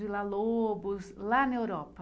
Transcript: Villa-Lobos, lá na Europa?